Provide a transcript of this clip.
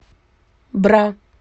бра